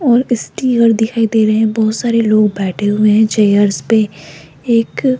और इसकी ओर दिखाई दे रहे हैं बहोत सारे लोग बैठे हुए हैं चेयर्स पे एक--